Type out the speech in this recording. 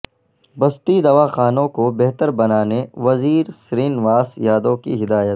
بستی دواخانوں کو بہتر بنانے وزیر سرینواس یادو کی ہدایت